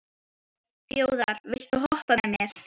Þjóðar, viltu hoppa með mér?